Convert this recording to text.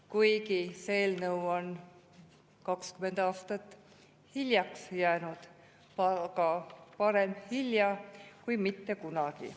Kuigi see eelnõu on 20 aastat hiljaks jäänud, aga parem hilja kui mitte kunagi.